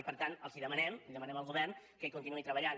i per tant els demanem li demanem al govern que hi continuï treballant